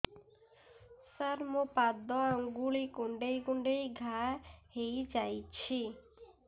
ସାର ମୋ ପାଦ ଆଙ୍ଗୁଳି କୁଣ୍ଡେଇ କୁଣ୍ଡେଇ ଘା ହେଇଯାଇଛି